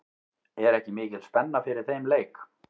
Er ekki mikil spenna fyrir þeim leik?